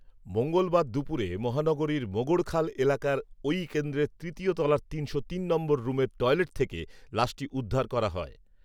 মঙ্গলবার দুপুরে মহানগরীর মোগড়খাল এলাকার ওই কেন্দ্রের তৃতীয় তলার তিনশো তিন নম্বর রুমের টয়লেট থেকে লাশটি উদ্ধার করা হয়